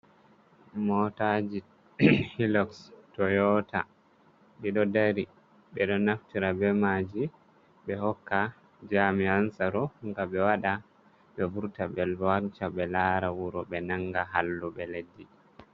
Motaji hiloks Toyota ɗi ɗo dari. Ɓe ɗo naftira be maaji ɓe hokka jami'an tsaro, nga ɓe waɗa, ɓe vurta be wanca, ɓe laara wuro, ɓe nanga halluɓe leddi.